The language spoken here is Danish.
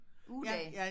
Ugedag